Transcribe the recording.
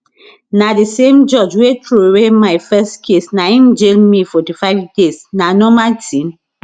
na di same judge wey throway my first case na im jail me 45 days na normal tin